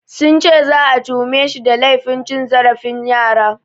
Sun ce za'a tuhumeshi da laifin cin zarafin yara.